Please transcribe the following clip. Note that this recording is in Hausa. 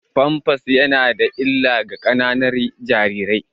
Pampers yana da illa ga ƙananan jarirai.